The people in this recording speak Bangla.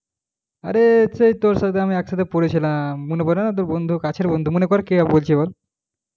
আরে সেই তোর সাথে একসাথে পড়েছিলাম মনে পরে না বন্ধু কাছের বন্ধু মনে কর কে বলছি এবার।